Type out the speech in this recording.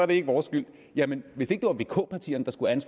det ikke vores skyld jamen hvis ikke det var vk partierne der skulle have